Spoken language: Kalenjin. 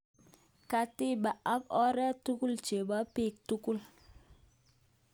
Katiba ak oret tugul chepo pik tugul.